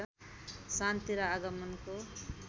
शान्ति र आगमनको